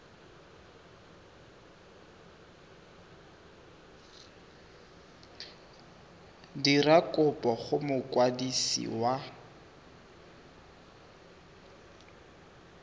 dira kopo go mokwadisi wa